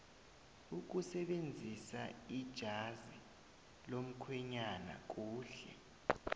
ukusebenzisaijazi lomukhwenyana kuhle